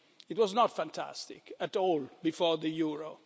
it was not fantastic at all before the euro.